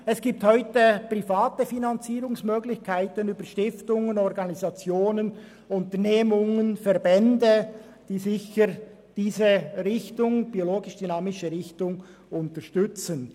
Es gibt heute private Finanzierungsmöglichkeiten über Stiftungen, Organisationen, Verbände, Unternehmen und so weiter, die die biodynamische Ausrichtung unterstützen.